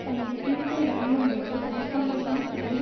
தனது தீர்ப்பை வழங்கும் போது அரசாங்கம்தான் கைது